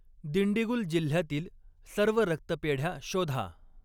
दिंडीगुल जिल्ह्यातील सर्व रक्तपेढ्या शोधा.